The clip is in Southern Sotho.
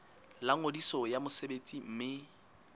la ngodiso ya mosebetsi mme